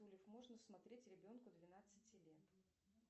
можно смотреть ребенку двенадцати лет